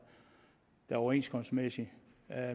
er den overenskomstmæssige